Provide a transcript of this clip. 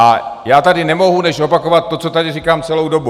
A já tady nemohu než opakovat to, co tady říkám celou dobu.